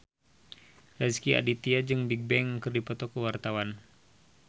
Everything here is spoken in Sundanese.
Rezky Aditya jeung Bigbang keur dipoto ku wartawan